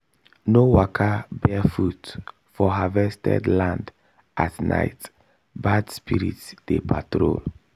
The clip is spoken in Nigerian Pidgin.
no waka barefoot for harvested land at night bad spirits dey patrol